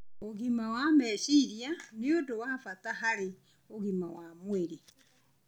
Ũgima wa meciria nĩ ũndũ wa bata harĩ ũgima wa mwĩrĩ.